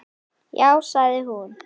Lét þær keppa um sig.